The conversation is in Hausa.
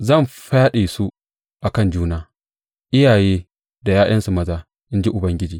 Zan fyaɗe su a kan juna, iyaye da ’ya’yansu maza, in ji Ubangiji.